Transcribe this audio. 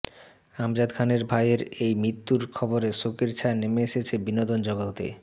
আমজাদ খানের ভাইয়ের এই মৃত্যুর খবরে শোকের ছায়া নেমে এসেছে বিনোদন জগতে